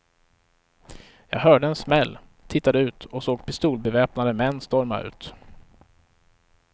Jag hörde en smäll, tittade ut och såg pistolbeväpnade män storma ut.